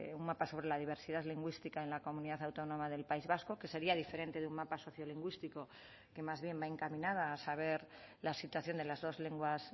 un mapa sobre la diversidad lingüística en la comunidad autónoma del país vasco que sería diferente de un mapa sociolingüístico que más bien va encaminada a saber la situación de las dos lenguas